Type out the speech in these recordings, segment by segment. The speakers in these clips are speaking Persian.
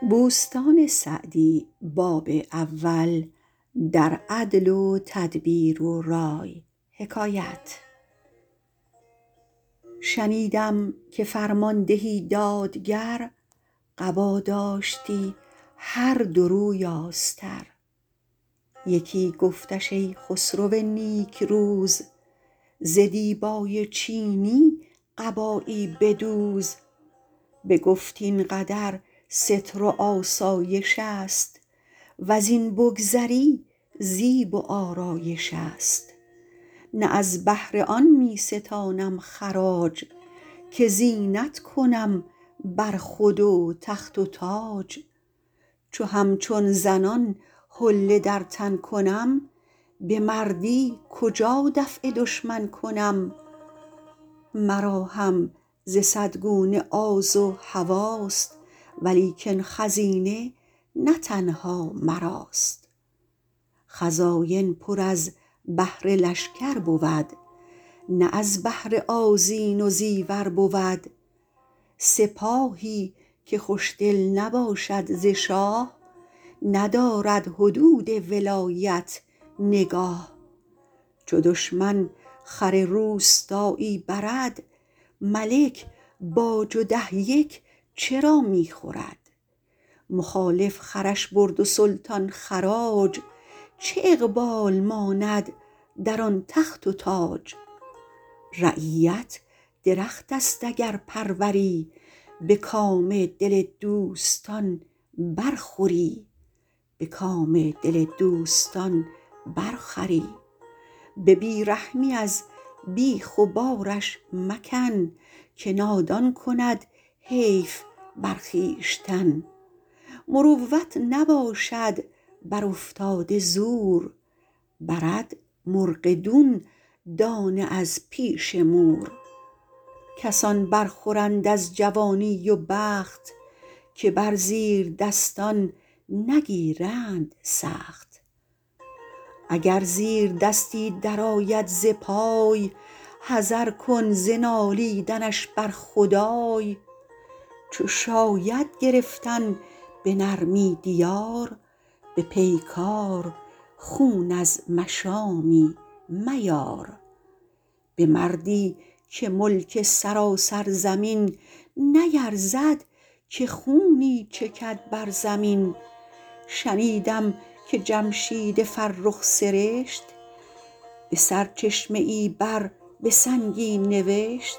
شنیدم که فرماندهی دادگر قبا داشتی هر دو روی آستر یکی گفتش ای خسرو نیکروز ز دیبای چینی قبایی بدوز بگفت این قدر ستر و آسایش است وز این بگذری زیب و آرایش است نه از بهر آن می ستانم خراج که زینت کنم بر خود و تخت و تاج چو همچون زنان حله در تن کنم به مردی کجا دفع دشمن کنم مرا هم ز صد گونه آز و هواست ولیکن خزینه نه تنها مراست خزاین پر از بهر لشکر بود نه از بهر آذین و زیور بود سپاهی که خوشدل نباشد ز شاه ندارد حدود ولایت نگاه چو دشمن خر روستایی برد ملک باج و ده یک چرا می خورد مخالف خرش برد و سلطان خراج چه اقبال ماند در آن تخت و تاج رعیت درخت است اگر پروری به کام دل دوستان بر خوری به بی رحمی از بیخ و بارش مکن که نادان کند حیف بر خویشتن مروت نباشد بر افتاده زور برد مرغ دون دانه از پیش مور کسان بر خورند از جوانی و بخت که بر زیردستان نگیرند سخت اگر زیردستی در آید ز پای حذر کن ز نالیدنش بر خدای چو شاید گرفتن به نرمی دیار به پیکار خون از مشامی میار به مردی که ملک سراسر زمین نیرزد که خونی چکد بر زمین شنیدم که جمشید فرخ سرشت به سرچشمه ای بر به سنگی نوشت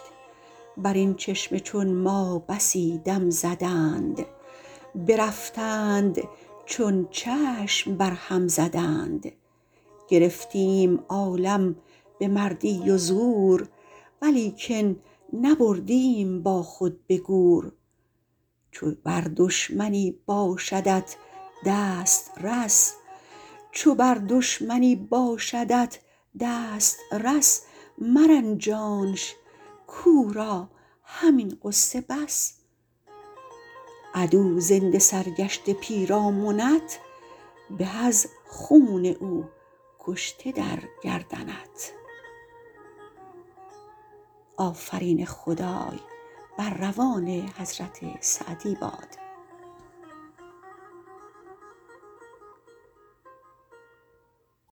بر این چشمه چون ما بسی دم زدند برفتند چون چشم بر هم زدند گرفتیم عالم به مردی و زور ولیکن نبردیم با خود به گور چو بر دشمنی باشدت دسترس مرنجانش کاو را همین غصه بس عدو زنده سرگشته پیرامنت به از خون او کشته در گردنت